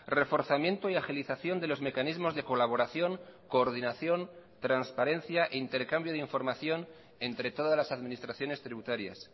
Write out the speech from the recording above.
reforzamiento y agilización de los mecanismos de colaboración coordinación transparencia e intercambio de información entre todas las administraciones tributarias